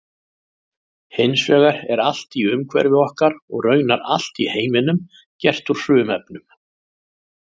Hins vegar er allt í umhverfi okkar og raunar allt í heiminum gert úr frumefnum.